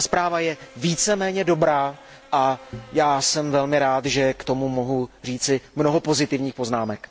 Ta zpráva je víceméně dobrá a já jsem velmi rád, že k tomu mohu říci mnoho pozitivních poznámek.